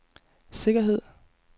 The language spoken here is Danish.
sikkerhed